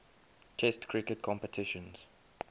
test cricket competitions